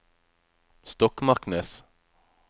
Stokmarknes